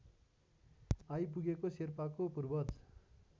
आइपुगेको शेर्पाका पूर्वज